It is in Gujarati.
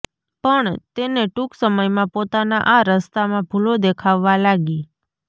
પણ તેને ટૂંક સમયમાં પોતાના આ રસ્તામાં ભૂલો દેખાવવા લાગી